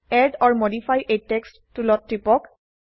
add or modify a text টুলত টিপক